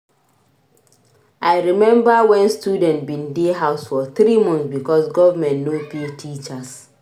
I rememba wen students bin dey house for three months because government no pay teachers